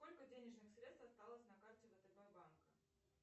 сколько денежных средств осталось на карте втб банка